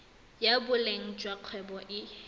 ya boleng jwa kgwebo e